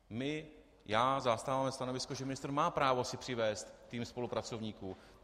My, já, zastáváme stanovisko, že ministr má právo si přivést tým spolupracovníků.